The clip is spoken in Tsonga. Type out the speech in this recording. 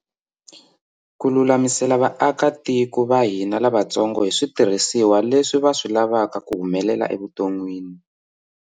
Ku lulamisela vaakatiko va hina lavatsongo hi switirhisiwa leswi va swi lavaka ku humelela evuton'wini